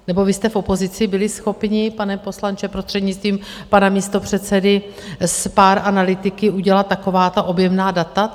Nebo vy jste v opozici byli schopni, pane poslanče, prostřednictvím pana místopředsedy, s pár analytiky udělat taková ta objemná data?